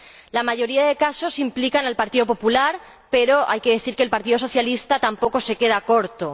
La mayoría de los casos implica al Partido Popular, pero hay que decir que el Partido Socialista tampoco se queda corto.